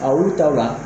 A olu taw la